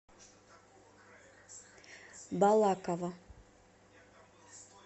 балаково